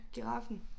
Giraffen